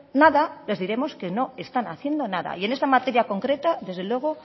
nada les diremos que no están haciendo nada y en este materia concreta desde luego